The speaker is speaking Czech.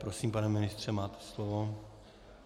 Prosím, pane ministře, máte slovo.